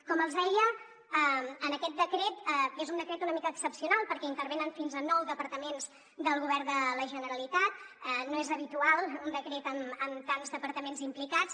com els deia aquest decret és un decret una mica excepcional perquè intervenen fins a nou departaments del govern de la generalitat no és habitual un decret amb tants departaments implicats